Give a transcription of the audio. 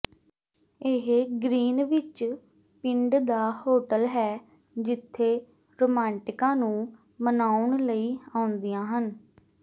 ਇਹ ਗ੍ਰੀਨਵਿੱਚ ਪਿੰਡ ਦਾ ਹੋਟਲ ਹੈ ਜਿਥੇ ਰੋਮਾਂਟਿਕਾਂ ਨੂੰ ਮਨਾਉਣ ਲਈ ਆਉਂਦੀਆਂ ਹਨ